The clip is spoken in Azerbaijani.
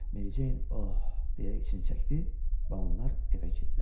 Meri Ceyn ah deyə için çəkdi və onlar evə girdilər.